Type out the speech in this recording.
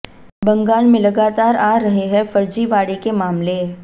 बंगाल में लगातार आ रहे हैं फर्जीवाड़े के मामले